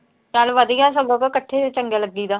ਚਲ ਵਧੀਆ ਸਗੋਂ ਉਹ ਤਾਂ ਇਕੱਠੇ ਈ ਚੰਗੇ ਲੱਗੀ ਦਾ।